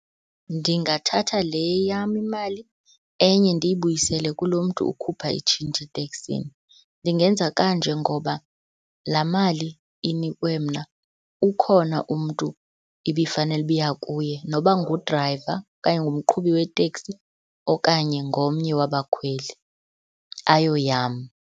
Ndingathatha le yam imali, enye ndiyibuyisele kulo mntu ukhupha itshintshi eteksini. Ndingenza kanje ngoba laa mali inikwe mna ukhona umntu ibifanele uba iya kuye, noba ngu-driver okanye ngumqhubi weteksi okanye ngomnye wabakhweli, ayoyam.